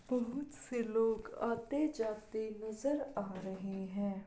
बहोत से लोग आते जाते नज़र आ रहे हैं ।